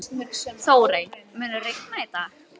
Þórey, mun rigna í dag?